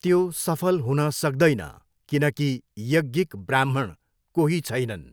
त्यो सफल हुन सक्दैन किनकि यज्ञिक ब्राह्मण कोही छैनन्।